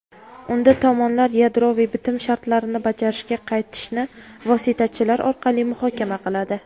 unda tomonlar yadroviy bitim shartlarini bajarishga qaytishni vositachilar orqali muhokama qiladi.